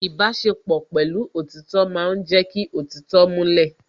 Ìbáṣepọ̀ pẹ̀lú òtítọ́ ma ń jẹ́ kí òtítọ́ múlẹ̀